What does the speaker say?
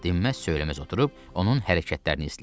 Dinməz-söyləməz oturub onun hərəkətlərini izləyirlər.